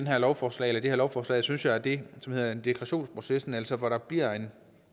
her lovforslag lovforslag synes jeg er det som hedder deklarationsprocessen altså hvor der bliver en